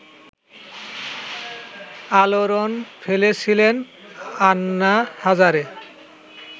আলোড়ন ফেলেছিলেন আন্না হাজারে